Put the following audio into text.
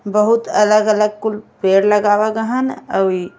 बहुत अलग अलग कुल पेड़ लगावल गहन। अउइ --